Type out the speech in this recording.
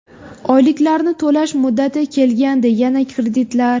Oyliklarni to‘lash muddati kelgandi, yana kreditlar.